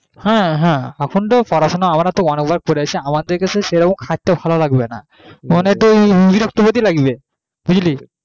হ্যাঁ হ্যাঁ এখনতো পড়া শুনা আমরা অনেক বার করেছি এখন তো আমাদের কে সেরকম খাটতে ভালো লাগবেনা মানে একটু বিরক্তি বোধ লাগবে বুঝলি